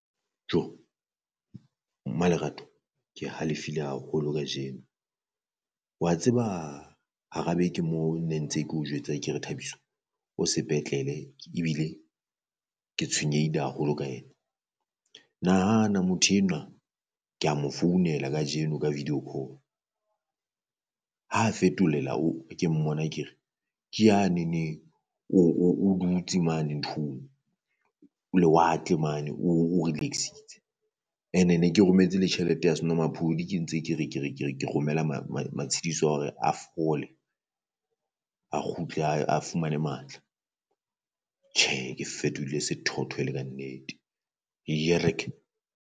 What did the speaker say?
Jo Mmalerato ke halefile haholo kajeno, wa tseba hara beke moo ne ntse ke o jwetsa ke re Thabiso o sepetlele ebile ke tshwenyehile haholo ka yena. Nahana motho enwa kea mo founela kajeno ka video ha fetolela ke mmona ke re ke yanene o o o dutse mane nthong o lewatle mane o o relax-itse. And-e ne ke rometse le tjhelete ya senwamaphodi ke ntse ke re ke re ke re ke romela matshidiso ahore a fole a kgutle a fumane matla. Ke fetohile sethotho e le kannete